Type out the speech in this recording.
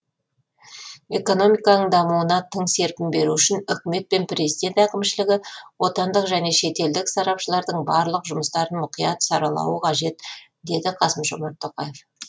экономиканың дамуына тың серпін беру үшін үкімет пен президент әкімшілігі отандық және шетелдік сарапшылардың барлық жұмыстарын мұқият сарлауы қажет деді қасым жомарт тоқаев